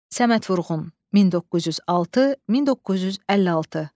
Səməd Vurğun, 1906-1956.